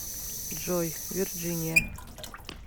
джой вирджиния